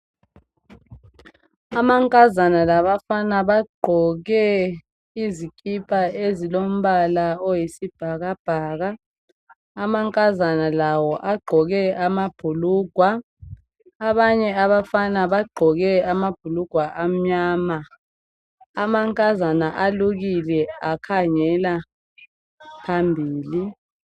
Amankazana labafana bagqoke izikipa ezilombala oyisibhakabhaka. Amankazana lawo agqoke amabhulugwe abanye abafana bagqoke amabhulugwe amnyama. Amankazana alukile akhangela phambili.